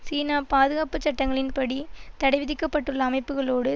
சீனா பாதுகாப்பு சட்டங்களின் படி தடை விதிக்க பட்டுள்ள அமைப்புக்களோடு